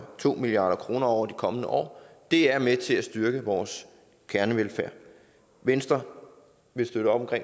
to milliard kroner over de kommende år det er med til at styrke vores kernevelfærd venstre vil støtte op